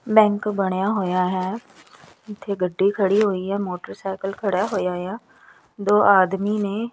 bank ਬਣਿਆ ਹੋਇਆ ਹੈ ਇੱਥੇ ਗੱਡੀ ਖੜੀ ਹੋਈ ਹੈ ਮੋਟਰਸਾਈਕਲ ਖੜਾ ਹੋਇਆ ਆ ਦੋ ਆਦਮੀ ਨੇ --